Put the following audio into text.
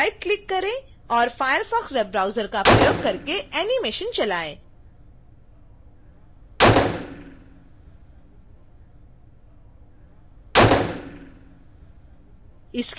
right click करें और firefox web browser का प्रयोग करके एनीमेशन चलाएँ